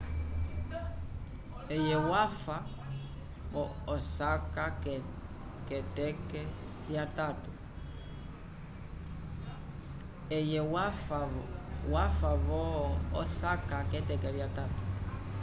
eye wafa vo-osaka k'eteke lyatatu